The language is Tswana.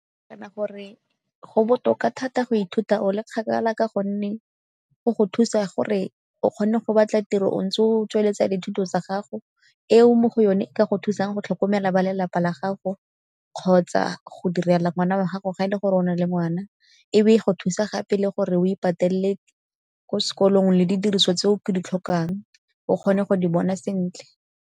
Kana gore go botoka thata go ithuta o le kgakala ka gonne go go thusa gore o kgone go batla tiro o ntse o tsweletsa dithuto tsa gago, eo mo go yone e ka go thusang go tlhokomela ba lelapa la gago kgotsa go direla ngwana wa gago ga e le go rona le ngwana. E be e go thusa gape le gore o ipatelele ko sekolong le di diriswa tse o ka di tlhokang o kgone go di bona sentle.